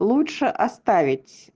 лучше оставить